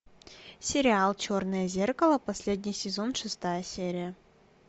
сериал черное зеркало последний сезон шестая серия